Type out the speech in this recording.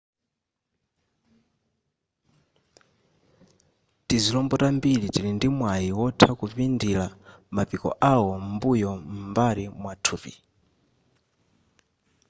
tizilombo tambiri tili ndi mwayi wotha kupindira mapiko awo m'mbuyo m'mbali mwathupi